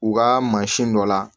U ka mansin dɔ la